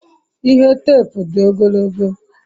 ihe teepu di ogologo